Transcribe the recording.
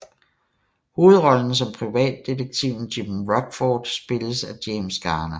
Hovedrollen som privatdetektiven Jim Rockford spilles af James Garner